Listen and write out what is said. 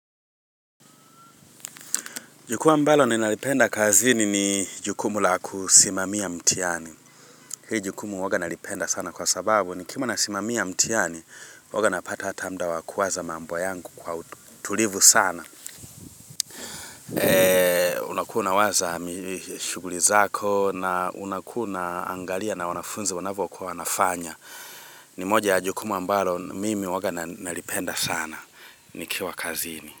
Jukuwa mbalo ni nalipenda kazini ni jukumu la kusimamia mtihani. Hii jukumu huwaga nalipenda sana kwa sababu ni kiwa nasimami ya mtihani huwaga napata hata muda wakuwaza mambo yangu kwa utulivu sana. Eh, unakuwa unawaza shughuli zako na unakuna unaangalia na wanafunzi wanavokuwa kuwa wanafanya. Ni moja ya jukumu mbalo mimi huwaga nalipenda sana nikiwa kazini.